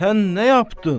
Sən nə yapdın?